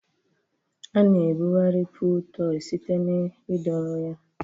A-na ebugharị pụụl tọị site na ịdọrọ ya.